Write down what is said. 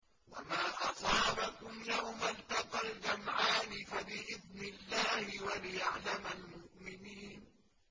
وَمَا أَصَابَكُمْ يَوْمَ الْتَقَى الْجَمْعَانِ فَبِإِذْنِ اللَّهِ وَلِيَعْلَمَ الْمُؤْمِنِينَ